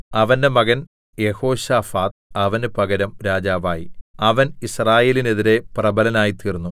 അവന്റെ മകൻ യെഹോശാഫാത്ത് അവന് പകരം രാജാവായി അവൻ യിസ്രായേലിനെതിരെ പ്രബലനായിത്തീർന്നു